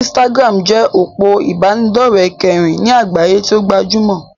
Instagram jẹ́ òpó ìbánidọ́rẹ̀ kẹrin ní àgbáyé tí o gbajúmọ̀.